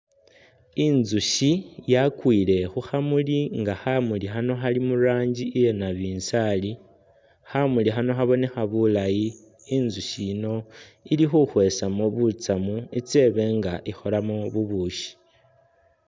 Intsushi nga yakwile khukhamuli nga khamuli khano Khali muranji iyanabinzari, khamuli khano khabonekha bulaayi intsushi yiino ilikhukhwesamo butsamu itse ibenga ikholamo bubushi